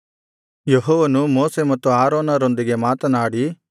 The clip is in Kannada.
ಯೆಹೋವನು ಮೋಶೆ ಮತ್ತು ಆರೋನರೊಂದಿಗೆ ಮಾತನಾಡಿ